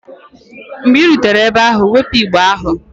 Mgbe ị rutere ebe ahụ, wepụ igbe ahụ!